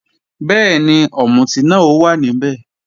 Bẹ́ẹ̀ni, ọ̀mùtí náà ó wà níbẹ̀